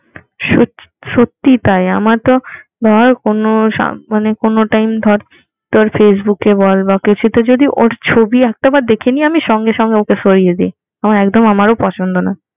সত্যি তাই আমার তো ধর কোনো মানে কোনো টাইম ধর তোর ফেসবুক এ বল বা কিছু তে যদি ওর ছবি একটা বার দেখে নিই আমি সঙ্গে সঙ্গে ওকে সরিয়ে দিই আমার একদম আমারো পছন্দ নয়